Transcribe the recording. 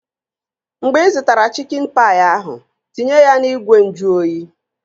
Mgbe ị zụtara chikin paị ahụ, tinye ya n'ìgwè nju oyi!